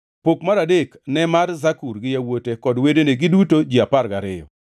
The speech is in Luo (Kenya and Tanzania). Pok mar adek ne mar Zakur gi yawuote kod wedene, giduto ji apar gariyo,